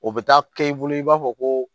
O bɛ taa kɛ i bolo i b'a fɔ ko